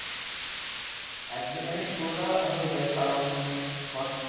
একদিনেই পুরোটা হয়ে যায় কারণ shot